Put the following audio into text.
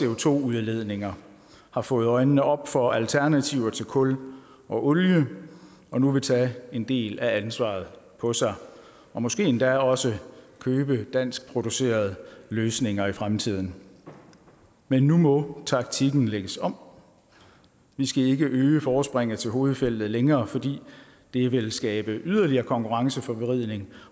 co2 udledninger har fået øjnene op for alternativer til kul og olie og nu vil tage en del af ansvaret på sig og måske endda også købe danskproducerede løsninger i fremtiden men nu må taktikken lægges om vi skal ikke øge forspringet til hovedfeltet længere fordi det vil skabe yderligere konkurrenceforvridning